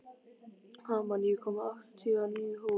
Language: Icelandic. Hamar, ég kom með áttatíu og níu húfur!